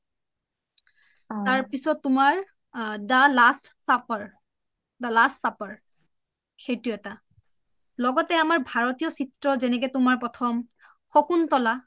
তাৰ পিছত তুমাৰ the last supper , the last supper সেইটো এটা লগতে আমাৰ ভাৰতীয় চিএ যেনেকে আমাৰ প্ৰথম শকুন্তলা